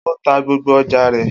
O ta gbogbo oja rẹ.